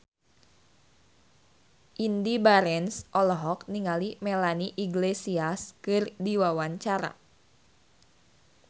Indy Barens olohok ningali Melanie Iglesias keur diwawancara